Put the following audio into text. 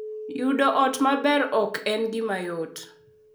Yudo ot maber ok en gima yot.